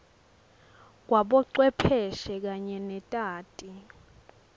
kwabocwepheshe kanye netati